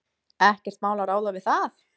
Ekkert mál að ráða við það.